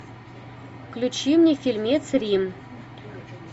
включи мне фильмец рим